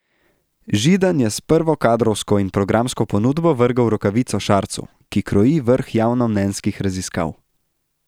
Židan je s prvo kadrovsko in programsko ponudbo vrgel rokavico Šarcu, ki kroji vrh javnomnenjskih raziskav.